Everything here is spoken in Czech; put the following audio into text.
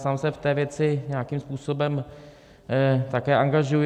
Sám se v té věci nějakým způsobem také angažuji.